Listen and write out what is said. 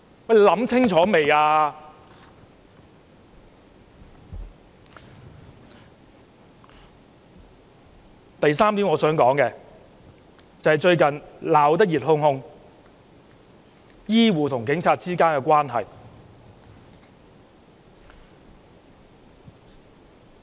我想說的第三點，是最近鬧得熱烘烘的醫護和警察關係。